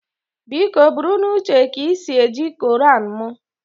Biko buru n'uche ka i si eji koran m